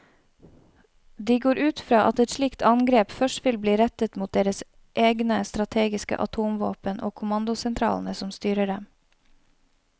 De går ut fra at et slikt angrep først vil bli rettet mot deres egne strategiske atomvåpen og kommandosentralene som styrer dem.